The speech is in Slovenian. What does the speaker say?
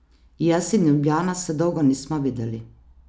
Jaz in Ljubljana se dolgo nismo videli.